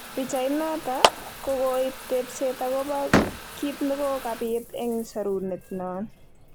Pichait noto kokokoib tebset okobo kitnekokabit eng sorunet non